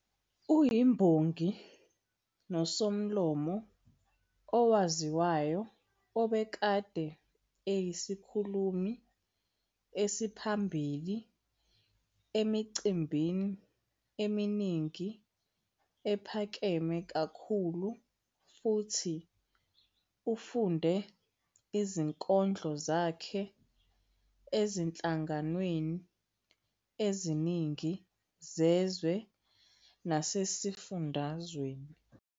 Ungumbongi nosomlomo owaziwayo obekade eyisikhulumi esiphambili emicimbini eminingi ephakeme kakhulu futhi ufunde izinkondlo zakhe ezinhlanganweni eziningi zezwe naseSifundweni.